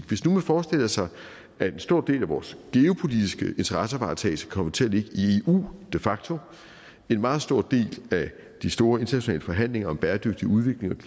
hvis nu man forestiller sig at en stor del af vores geopolitiske interessevaretagelse kommer til at ligge i eu de facto en meget stor del af de store internationale forhandlinger om bæredygtig udvikling